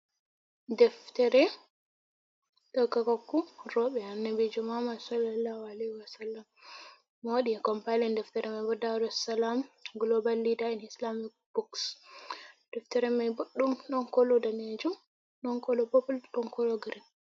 Daftere dokakoku roɓe annabijo muhammad sallallahu alaihi wa sallam, mo waɗi compalen deftere mai bo daru salam global lida en islamic books, deftere mai boɗdum ɗon kolo danejum, ɗon kolo popul, ɗon kolo grin.